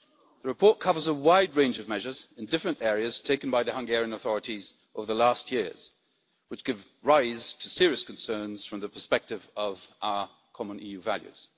The report covers a wide range of measures in different areas taken by the Hungarian authorities over the last few years which give rise to serious concerns from the perspective of our common EU values.